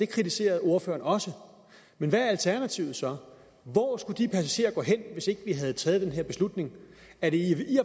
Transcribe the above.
kritiserede ordføreren også hvad er alternativet så hvor skulle de passagerer gå hen hvis vi ikke havde taget den her beslutning er det i